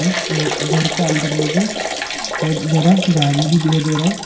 घर का अंदर में जो बहुत जरा गाड़ी भी दिखाई दे रहा है।